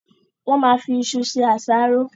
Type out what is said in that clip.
Wọ́n ma fi isu se àsáró.